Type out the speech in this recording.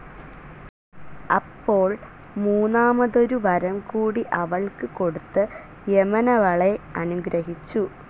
അപ്പോൾ മൂന്നാമതൊരു വരംകൂടി അവൾക്ക് കൊടുത്ത് യമനവളെ അനുഗ്രഹിച്ചു.